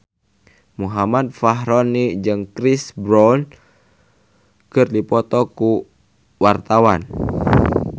Muhammad Fachroni jeung Chris Brown keur dipoto ku wartawan